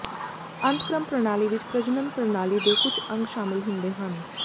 ਅੰਤਕ੍ਰਮ ਪ੍ਰਣਾਲੀ ਵਿੱਚ ਪ੍ਰਜਨਨ ਪ੍ਰਣਾਲੀ ਦੇ ਕੁਝ ਅੰਗ ਸ਼ਾਮਿਲ ਹੁੰਦੇ ਹਨ